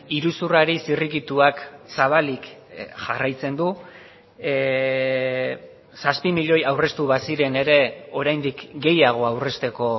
iruzurrari zirrikituak zabalik jarraitzen du zazpi milioi aurreztu baziren ere oraindik gehiago aurrezteko